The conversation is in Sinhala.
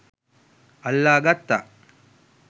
අල්ලා ගත්තා.